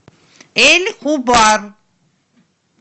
эль хубар